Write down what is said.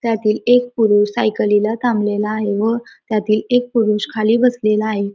त्यातील एक पुरुष सायकलीला थामलेला आहे व त्यातील एक पुरुष खाली बसलेला आहे.